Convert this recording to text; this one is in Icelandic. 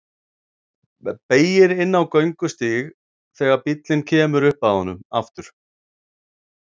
Beygir inn á göngustíg þegar bíllinn kemur upp að honum aftur.